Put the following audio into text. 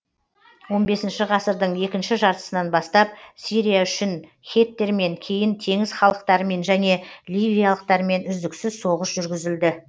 екінші жартысынан бастап сирия үшін хеттермен кейін теңіз халықтарымен және ливиялықтармен үздіксіз соғыс жүргізілді